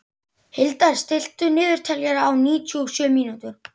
Hildar, stilltu niðurteljara á níutíu og sjö mínútur.